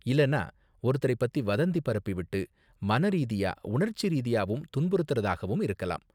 இல்லனா ஒருத்தரை பத்தி வதந்தி பரப்பி விட்டு மனரீதியா உணர்ச்சிரீதியாவும் துன்புறுத்துறதாவும் இருக்கலாம்.